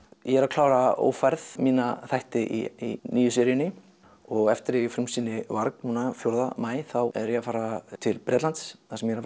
ég er að klára ófærð mína þætti í nýju seríunni og eftir að ég frumsýni varg núna fjórða maí þá er ég að fara til Bretlands þar sem ég er